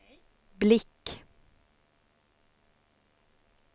blick